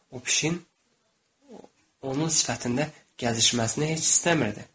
O pişiyin onun sifətində gəzişməsini heç istəmirdi.